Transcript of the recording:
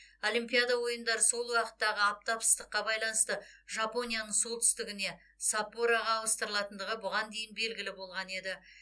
олимпиада ойындары сол уақыттағы аптап ыстыққа байланысты жапонияның солтүстігіне саппороға ауыстырылатындығы бұған дейін белгілі болған еді